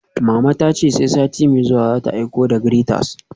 Mama ta ce sai sati mai zuwa za ta aiko da graters